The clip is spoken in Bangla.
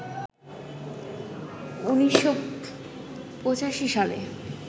১৯৮৫ সালে